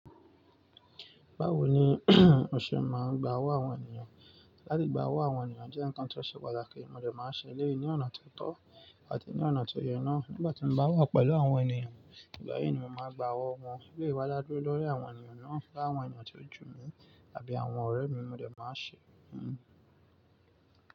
Báwo ni o ṣe máa ń gba owó àwọn ènìyàn? Látìgbà owó àwọn ènìyàn jẹ́ ǹkan tó ṣe pàtàkì, mo dẹ̀ máa ń ṣe lẹ́yìn ní ọ̀nà tó tọ́ àti ní ọ̀nà tó yé na. Nígbà tí mo bá wà pẹ̀lú àwọn ènìyàn, ìgbà yìí ni mo máa gba owó wọn. Éléyì wá dà dúró lórí àwọn ènìyàn náà, láwọn ènìyàn tó jù mí tàbí àwọn ọ̀rẹ́ mi mo dẹ̀ máa ń ṣe.